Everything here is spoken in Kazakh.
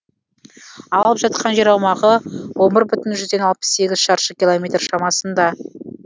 алып жатқан жер аумағы он бір бүтін жүзден алпыс сегіз шаршы километр шамасында